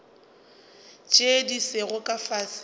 tše di sego ka fase